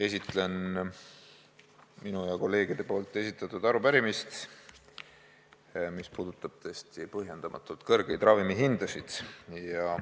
Esitlen minu ja kolleegide esitatud arupärimist, mis puudutab põhjendamatult kõrgeid ravimihindasid.